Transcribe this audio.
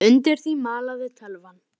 Undir því malaði tölvan.